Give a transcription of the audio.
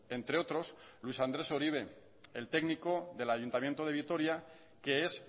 entre otros luis andrés uribe el técnico del ayuntamiento de vitoria que es